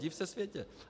Div se světe!